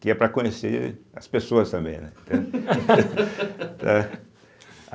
Que é para conhecer as pessoas também, né? tá